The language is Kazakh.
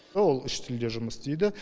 ол үш тілде жұмыс істейді